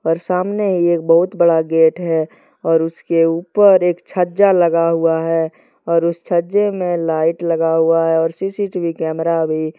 और सामने एक बहुत बड़ा गेट है और उसके ऊपर एक छजा लगा हुआ है और उस छजे मे लाइट लगा हुआ है और सी_सी_टी_वी कैमरा भी।